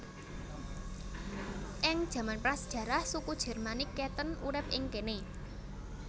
Ing jaman prasajarah suku Jermanik Catten urip ing kéné